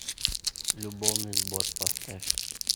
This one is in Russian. любовный сбор поставь